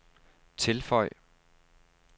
tilføj